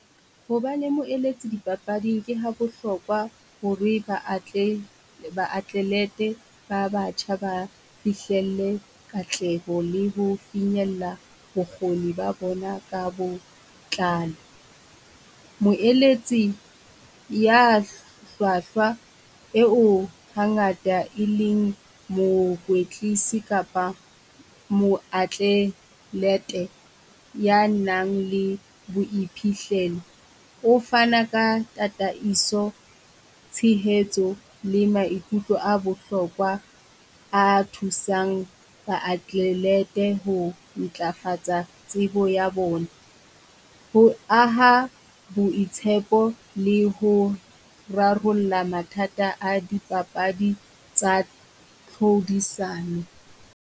Ho ba le moeletsi dipapading ke ha bohlokwa ho re baatlelete ba batjha ba fihlelle katleho le ho finyella bokgoni ba bona ka bo tlalo. Moeletsi ya hlwahlwa eo hangata e leng mokwetlisi kapa moatlelete ya nang le boiphihlelo. O fana ka tataiso, tshehetso le maikutlo a bohlokwa a thusang baatlelete ho ntlafatsa tsebo ya bona. Ho aha boitshepo le ho rarolla mathata a di papadi tsa tlhodisano.